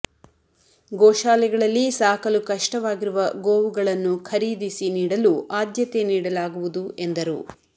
ಗೋಶಾಲೆಗಳಲ್ಲಿ ಸಾಕಲು ಕಷ್ಟವಾಗಿರುವ ಗೋವುಗಳನ್ನು ಖರೀದಿಸಿ ನೀಡಲು ಆದ್ಯತೆ ನೀಡಲಾಗುವುದು ಎಂದರು